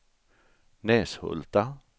Näshulta